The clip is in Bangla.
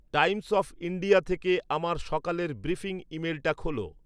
টাইমস অফ ইন্ডিয়া থেকে আমার সকালের ব্রিফিং ইমেলটা খোলো